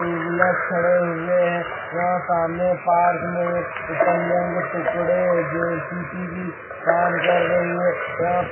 To wheelers खड़े हुए हैं यहां सामने पार्क में इटंग के टुकड़े जेसीपी भी काम कर रही है।